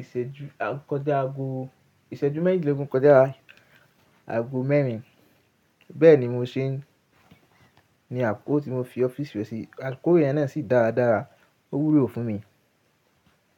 ìṣẹ́jú, kọjá ago ìṣẹ́jú méjìdínlógún kọjá ago mẹ́rin. Bẹ́ẹ̀ ni mo ṣe ń ní àkókò tí mo fi ọ́fíìsì rẹ ṣí. Àkókò yẹn náà sì dára dára, ó wúlò fún mi.